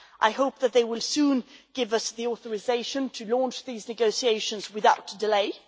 I hope that they will soon give us the authorisation to launch these negotiations without delay.